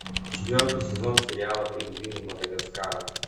четвертый сезон сериала пингвины мадагаскара